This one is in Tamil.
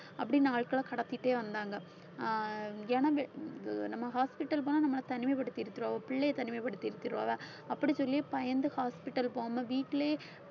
அப்படி நாட்களை கடத்திட்டே வந்தாங்க ஆஹ் ஏன்னா இந்த இது நம்ம hospital போனால் நம்மளை தனிமைப்படுத்தி பிள்ளையை தனிமைப்படுத்தி அப்படி சொல்லி பயந்து hospital போகாமல் வீட்டிலேயே